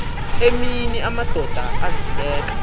emini amadoda azibeka